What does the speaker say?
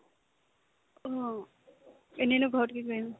অ, এনেনো ঘৰত কি কৰিম ?